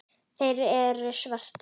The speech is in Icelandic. Þeir eru svartir.